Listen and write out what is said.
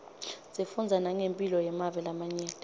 sifundza nangemphilo yemave lamanye